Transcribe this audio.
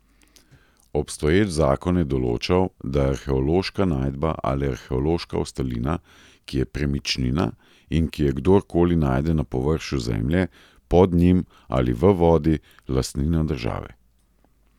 Obstoječ zakon je določal, da je arheološka najdba ali arheološka ostalina, ki je premičnina in ki jo kdor koli najde na površju zemlje, pod njim ali v vodi, lastnina države.